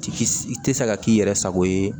Ti i tɛ se ka k'i yɛrɛ sago ye